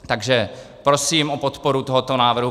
Takže prosím o podporu tohoto návrhu.